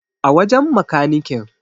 A wajen makanikin